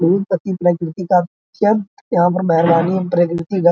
बहुत यहां पर मेहरबानी और बा।